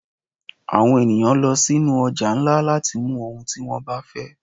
Àwọn eníyan lọ sí nú ojà ńlá latí mú ohún tí wón ba fẹ